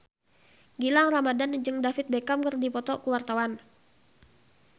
Gilang Ramadan jeung David Beckham keur dipoto ku wartawan